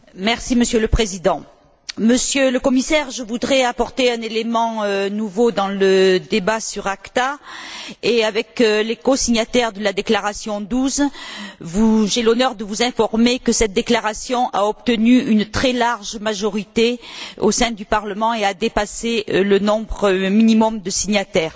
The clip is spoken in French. Monsieur le Président, Monsieur le Commissaire, je voudrais apporter un élément nouveau dans le débat sur l'ACTA et, avec les cosignataires de la déclaration 12, j'ai l'honneur de vous informer que cette déclaration a obtenu une très large majorité au sein du Parlement et a dépassé le nombre minimum de signataires.